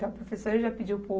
Então a professora já pediu para o